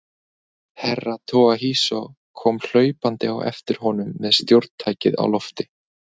Herra Toahizo kom hlaupandi á eftir honum með stjórntækið á lofti.